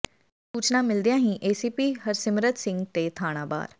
ਸੂਚਨਾ ਮਿਲਦਿਆਂ ਹੀ ਏਸੀਪੀ ਹਰਸਿਮਰਤ ਸਿੰਘ ਤੇ ਥਾਣਾ ਬਾਰ